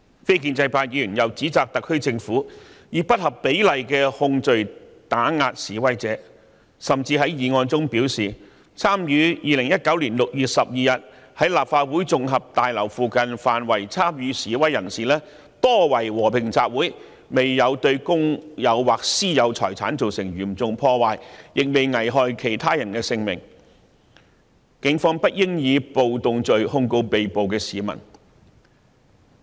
非建制派議員又指責特區政府以不合比例的控罪打壓示威者，甚至在議案中表示 ，2019 年6月12日在立法會綜合大樓附近範圍參與示威的人士多為和平集會，並未對公有或私有財產造成嚴重破壞，亦沒有危害其他人的性命，警方不應以暴動罪控告被捕市民。